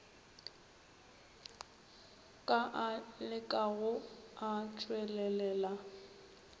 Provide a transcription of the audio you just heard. ka a lekago a tšwelelela